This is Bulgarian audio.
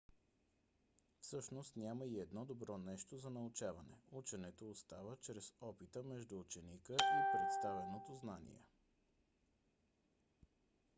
всъщност няма и едно добро нещо за научаване. ученето става чрез опита между ученика и представеното знание